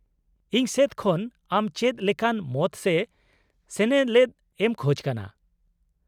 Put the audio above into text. -ᱤᱧ ᱥᱮᱫ ᱠᱷᱚᱱ ᱟᱢ ᱪᱮᱫ ᱞᱮᱠᱟᱱ ᱢᱚᱛ ᱥᱮ ᱥᱮᱱᱮᱞᱮᱫ ᱮᱢ ᱠᱷᱚᱡᱽ ᱠᱟᱱᱟ ?